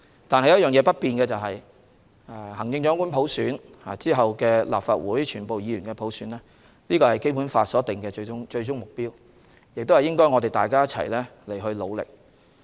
但不變的是行政長官普選及其後的立法會普選是《基本法》所定的最終目標，我們需為此一起努力。